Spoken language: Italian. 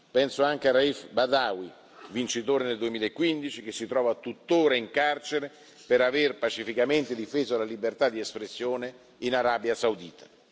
Penso anche a Raif Badawi, vincitore nel 2015, che si trova tuttora in carcere per aver pacificamente difeso la libertà di espressione in Arabia Saudita.